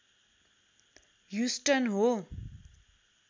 Houston हो